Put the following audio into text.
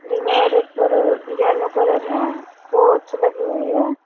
दीवार पर yellow colour है लगी हुई है।